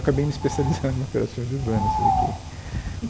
Acabei me especializando em operações urbanas você vê que